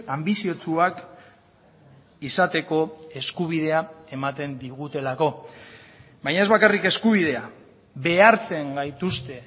anbiziotsuak izateko eskubidea ematen digutelako baina ez bakarrik eskubidea behartzen gaituzte